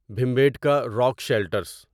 Bhimbetka rock shelters